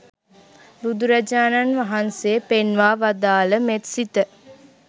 බුදුරජාණන් වහන්සේ පෙන්වා වදාළ මෙත්සිත